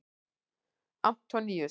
Antoníus